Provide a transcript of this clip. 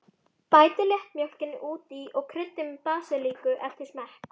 Bætið léttmjólkinni út í og kryddið með basilíku eftir smekk.